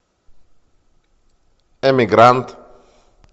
эмигрант